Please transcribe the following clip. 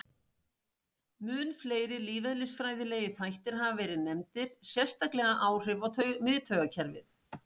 Mun fleiri lífeðlisfræðilegir þættir hafa verið nefndir, sérstaklega áhrif á miðtaugakerfið.